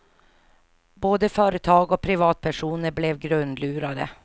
Både företag och privatpersoner blev grundlurade.